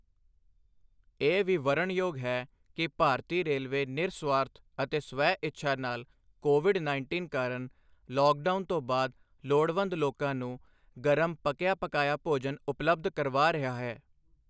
ਇਹ ਵੀ ਵਰਨਣਯੋਗ ਹੈ ਕਿ ਭਾਰਤੀ ਰੇਲਵੇ ਨਿਰਸੁਆਰਥ ਅਤੇ ਸਵੈ-ਇੱਛਾ ਨਾਲ ਕੋਵਿਡ ਉੱਨੀ ਕਾਰਨ ਲੌਕਡਾਊਨ ਤੋਂ ਬਾਅਦ ਲੋੜਵੰਦ ਲੋਕਾਂ ਨੂੰ ਗਰਮ ਪੱਕਿਆ ਪਕਾਇਆ ਭੋਜਨ ਉਪਲੱਬਧ ਕਰਵਾ ਰਿਹਾ ਹੈ।